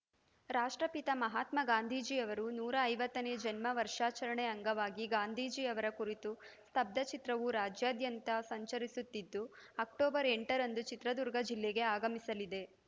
ರಾಷ್ಟ್ರಪಿತ ಮಹಾತ್ಮ ಗಾಂಧೀಜಿ ಅವರು ನೂರ ಐವತ್ತನೇ ಜನ್ಮ ವರ್ಷಾಚರಣೆ ಅಂಗವಾಗಿ ಗಾಂಧೀಜಿ ಅವರ ಕುರಿತ ಸ್ತಬ್ಧಚಿತ್ರವು ರಾಜ್ಯಾದ್ಯಂತ ಸಂಚರಿಸುತ್ತಿದ್ದು ಅಕ್ಟೋಬರ್‌ ಎಂಟರಂದು ಚಿತ್ರದುರ್ಗ ಜಿಲ್ಲೆಗೆ ಆಗಮಿಸಲಿದೆ